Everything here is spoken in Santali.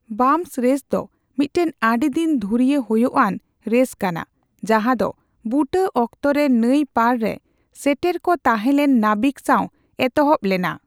ᱵᱟᱢᱯᱥ ᱨᱮᱥ ᱫᱚ ᱢᱤᱫᱴᱟᱝ ᱟᱹᱰᱤ ᱫᱤᱱ ᱫᱷᱩᱨᱤᱭᱟᱹ ᱦᱳᱭᱳᱜ ᱟᱱ ᱨᱮᱹᱥ ᱠᱟᱱᱟ ᱡᱟᱦᱟᱸ ᱫᱚ ᱵᱩᱴᱟᱹ ᱚᱠᱛᱚ ᱨᱮ ᱱᱟᱹᱭ ᱯᱟᱲᱨᱮ ᱥᱮᱴᱮᱨ ᱠᱚ ᱛᱟᱦᱮᱸ ᱞᱮᱱ ᱱᱟᱵᱤᱠ ᱥᱟᱣ ᱮᱛᱚᱦᱚᱵ ᱞᱮᱱᱟ ᱾